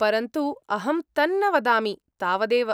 परन्तु अहं तन्न वदामि, तावदेव।